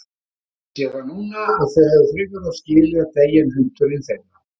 Ég sé það núna að þau hefðu frekar átt skilið að deyja en hundurinn þeirra.